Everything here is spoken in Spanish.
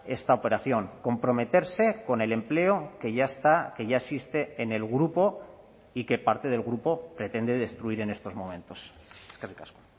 esta operación comprometerse con el empleo que ya está que ya existe en el grupo y que parte del grupo pretende destruir en estos momentos eskerrik asko